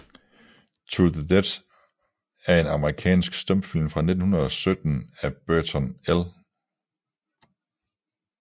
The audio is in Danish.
To the Death er en amerikansk stumfilm fra 1917 af Burton L